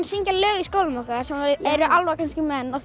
syngja lög í skólanum sem var eru álfar kannski menn og